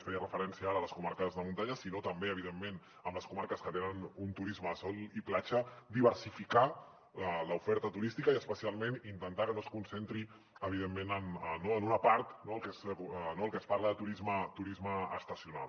feia referència ara a les comarques de muntanya sinó també evidentment a les comarques que tenen un turisme de sol i platja diversificar l’oferta turística i especialment intentar que no es concentri evidentment no en una part el que es parla de turisme estacional